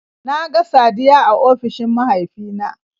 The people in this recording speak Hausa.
Na ga Saddiya a ofishin mahaifina